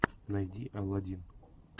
найди алладин